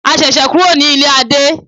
A ṣẹ̀ṣẹ̀ kúrò ní ilé Adé.